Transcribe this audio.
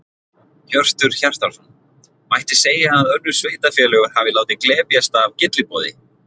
Hjörtur Hjartarson: Mætti segja að önnur sveitarfélög hafi látið glepjast af gylliboði?